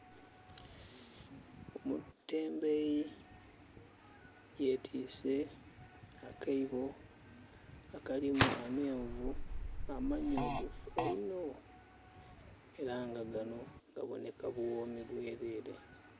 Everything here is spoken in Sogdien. Omutembeeyi yetwiise akaibo akalimu amenvu amanhulugufu eino. Era nga gano gaboneka buwoomi bwerere